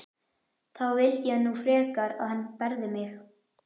Þá vildi ég nú frekar að hann berði mig.